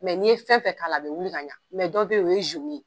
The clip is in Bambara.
Mɛ n'i ye fɛn fɛn k'a la a bɛ wili ka ɲɛ mɛ dɔ bɛ yen o ye ye